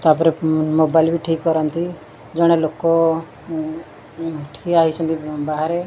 ତାପରେ ମୋବାଇଲ୍ ବି ଠିକ୍ କରନ୍ତି ଜଣେ ଲୋକ ଟିଆ ହୋଇଛନ୍ତି ବାହାରେ।